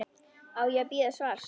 Á ég að bíða svars?